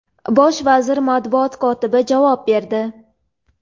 Bosh vazir matbuot kotibi javob berdi.